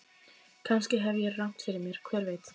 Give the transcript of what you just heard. Kannski hef ég rangt fyrir mér, hver veit?